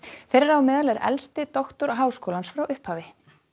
þeirra á meðal er elsti doktor háskólans frá upphafi